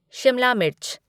शिमला मिर्च